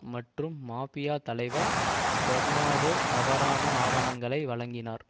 மற்றும் மாபியா தலைவர் பெர்னாடோ தவறான ஆவணங்களை வழங்கினார்